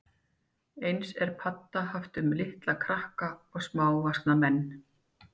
Eins er padda haft um litla krakka og smávaxna menn.